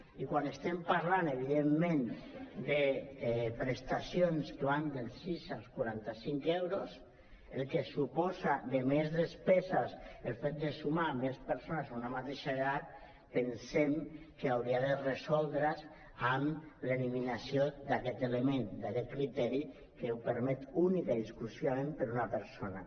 i quan estem parlant evidentment de prestacions que van dels sis als quaranta·cinc euros el que suposa de més despeses el fet de sumar més persones a una mateixa llar pensem que hauria de resoldre’s amb l’eliminació d’aquest element d’aquest criteri que ho per·met únicament i exclusivament per a una persona